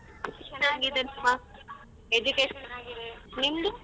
ಚನ್ನಾಗಿದೆ ಹಾ education ಚನಾಗಿದೆ ನಿಂದು?